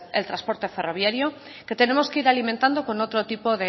el transporte ferroviario que tenemos que ir alimentando con otro tipo